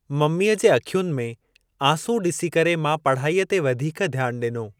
मम्मीअ जे अखियुनि में आंसू ॾिसी करे मां पढ़ाईअ ते वधीक ध्यानु ॾिनो।